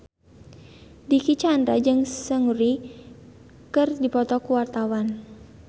Dicky Chandra jeung Seungri keur dipoto ku wartawan